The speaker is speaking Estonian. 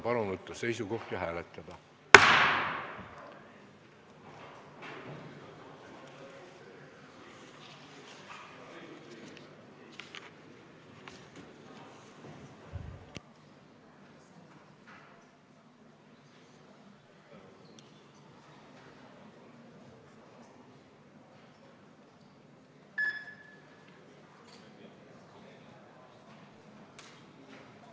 Palun võtta seisukoht ja hääletada!